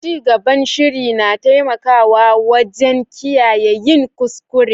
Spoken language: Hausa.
Cigaban shiri na taimakawa wajen kiyaye yin kuskure.